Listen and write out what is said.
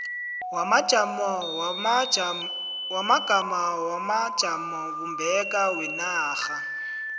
wamagama wamajamobumbeko wenarha